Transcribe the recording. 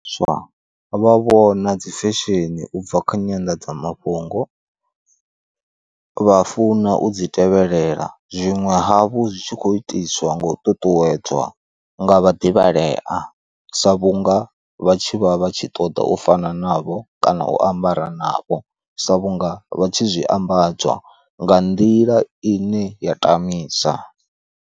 Swa vha vhona dzi fesheni ubva kha nyandadzamafhungo vha funa u dzi tevhelela, zwiṅwe havhu zwitshi kho itiswa nga u ṱuṱuwedzwa nga vha ḓivhalea sa vhunga vha tshi vha vha tshi ṱoḓa u fana na vho kana u ambara navho, sa vhunga vha tshi zwi ambadzwa nga nḓila ine ya tamisa.